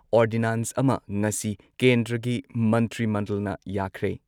Ordinance ꯑꯃ ꯉꯁꯤ ꯀꯦꯟꯗ꯭ꯔꯒꯤ ꯃꯟꯇ꯭ꯔꯤ ꯃꯟꯗꯜꯅ ꯌꯥꯈ꯭ꯔꯦ꯫